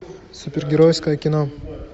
супергеройское кино